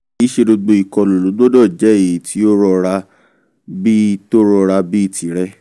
kìí ṣe gbogbo ìkọlù ló gbọ́dọ̀ jẹ́ èyí tó rọra bí tó rọra bí tìrẹ